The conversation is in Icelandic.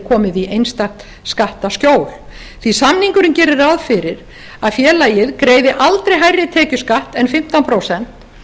komið í einstakt skattaskjól því samningurinn gerir ráð fyrir að félagið greiði aldrei hærri tekjuskatt en fimmtán prósent og skiptir